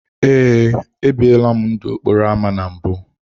Ee, ebiela m ndụ n’okporo ámá na mbụ.